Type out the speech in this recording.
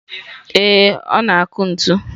Ee, ọ na-akụ ntu.